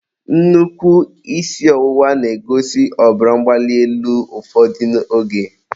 nnukwu isi ọwụwa na-egosi ọbara mgbali elu ụfọdụ oge.